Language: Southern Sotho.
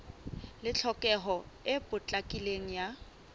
le tlhokeho e potlakileng ya